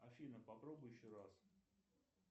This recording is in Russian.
афина попробуй еще раз